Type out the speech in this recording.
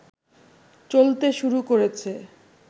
চলতে শুরু করেছে